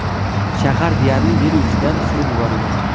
Shahar deyarli yer yuzidan surib yuborilgan.